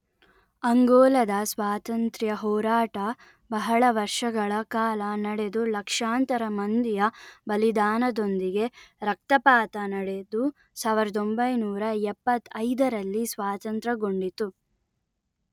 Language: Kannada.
ಅಂಗೋಲದ ಸ್ವಾತಂತ್ರ್ಯ ಹೋರಾಟ ಬಹಳ ವರ್ಷಗಳ ಕಾಲ ನಡೆದು ಲಕ್ಷಾಂತರ ಮಂದಿಯ ಬಲಿದಾನದೊಂದಿಗೆ ರಕ್ತಪಾತ ನಡೆದು ಸಾವಿರದ ಒಂಭೈನೂರಾ ಎಪ್ಪತ್ತೈದರಲ್ಲಿ ಸ್ವಾತಂತ್ರಗೊಂಡಿತು